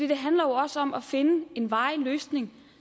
det handler jo også om at finde en varig løsning